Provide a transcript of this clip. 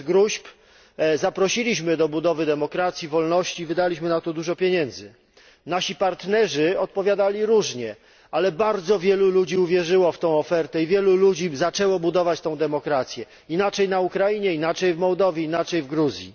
Bez gróźb zaprosiliśmy do budowy demokracji i wolności i wydaliśmy na to dużo pieniędzy. Nasi partnerzy odpowiadali różnie, ale bardzo wielu ludzi uwierzyło w tę ofertę i wielu zaczęło budować tę demokrację. Inaczej na Ukrainie, inaczej w Mołdawii, inaczej w Gruzji.